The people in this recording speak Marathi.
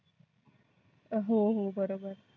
हो हो बरोबर.